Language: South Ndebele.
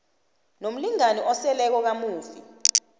nomlingani oseleko kamufi